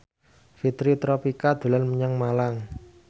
Fitri Tropika dolan menyang Malang